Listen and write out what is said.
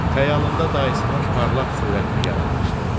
Xəyalında dayısının parlaq surətini yaratmışdı.